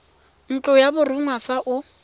ntlo ya borongwa fa o